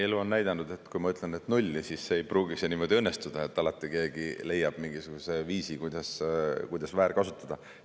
Elu on näidanud, et kui ma ütlen, et nulli, siis ei pruugi see niimoodi õnnestuda, alati keegi leiab mingisuguse viisi, kuidas väärkasutada.